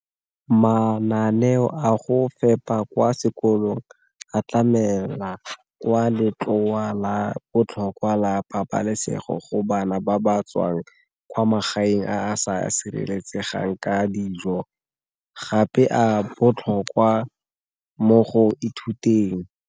Mananeo a go fepa kwa sekolong a tlamela kwa letloa la botlhokwa la pabalesego go bana ba ba tswang kwa magaeng a sa sireletsegang ka dijo, gape a botlhokwa mo go ithuteng.